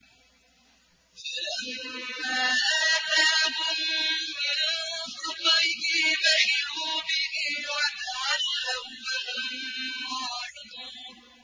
فَلَمَّا آتَاهُم مِّن فَضْلِهِ بَخِلُوا بِهِ وَتَوَلَّوا وَّهُم مُّعْرِضُونَ